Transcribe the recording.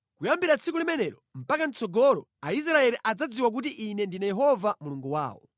Kuyambira tsiku limenelo mpaka mʼtsogolo Aisraeli adzadziwa kuti Ine ndine Yehova Mulungu wawo.